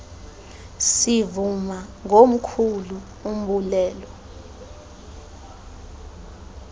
sivuma ngomkhulu umbulelo